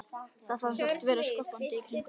Og þá fannst mér allt vera skoppandi í kringum mig.